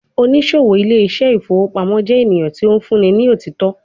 Onisowo Ile ise ifowo pamo jẹ eniyan ti o funni ni onisọtọ